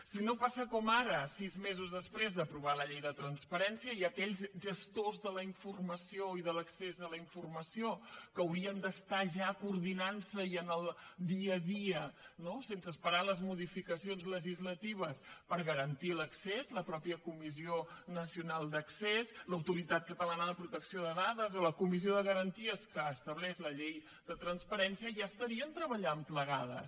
si no passa com ara sis mesos després d’aprovar la llei de transparència aquells gestors de la informació i de l’accés a la informació que haurien d’estar ja coordinant se i en el dia a dia no sense esperar les modificacions legislatives per garantir hi l’accés la mateixa comissió nacional d’accés l’autoritat catalana de protecció de dades o la comissió de garanties que estableix la llei de transparència ja estarien treballant plegats